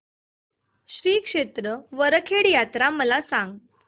श्री क्षेत्र वरखेड यात्रा मला सांग